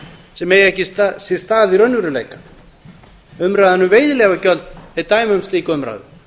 sem eiga sér ekki stað í raunveruleikanum umræðan um veiðileyfagjöld er dæmi um slíka umræðu